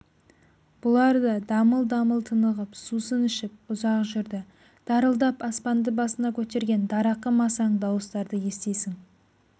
бұлар да дамыл-дамыл тынығып сусын ішіп ұзақ жүрді дарылдап аспанды басына көтерген дарақы масаң дауыстарды естисің